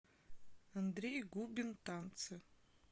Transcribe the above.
андрей губин танцы